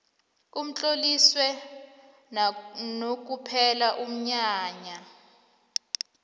utloliswe nakuphela umnyanya